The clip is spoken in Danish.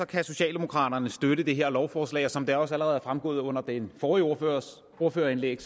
kan socialdemokraterne støtte det her lovforslag og som det også allerede er fremgået under den forrige ordførers ordførerindlæg